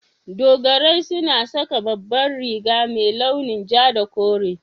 Dogarai suna saka babbar riga mai launin ja da kore.